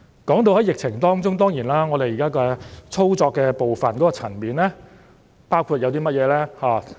說到疫情的處理，我們現時在操作的部分包括甚麼層面呢？